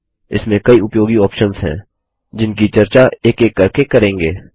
इसमें कई उपयोगी ऑप्शंस हैं जिनकी चर्चा एक एक करके करेंगे